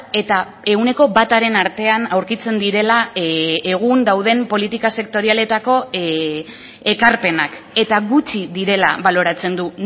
eta ehuneko bataren artean aurkitzen direla egun dauden politika sektorialetako ekarpenak eta gutxi direla baloratzen du